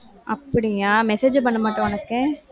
அப்படியா? message பண்ணமாட்டாளா உனக்கு